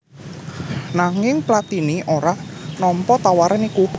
Nanging Platini ora nampa tawaran iku